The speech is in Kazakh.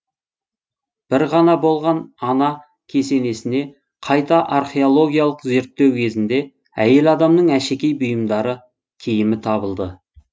бір ғана болған ана кесенесіне қайта археологиялық зерттеу кезінде әйел адамның әшекей бұйымдары киімі табылды